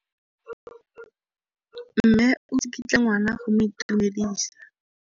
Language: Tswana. Mme o tsikitla ngwana go mo itumedisa.